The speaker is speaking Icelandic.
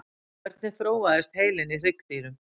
hvernig þróaðist heilinn í hryggdýrum